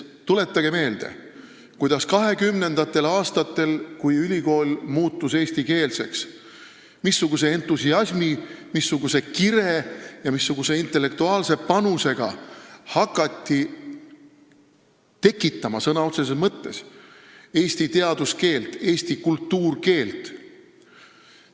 Tuletage meelde, missuguse entusiasmi, kire ja intellektuaalse panusega hakati 1920-ndatel, kui ülikool muutus eestikeelseks, tekitama sõna otseses mõttes eesti teaduskeelt, eesti kultuurkeelt.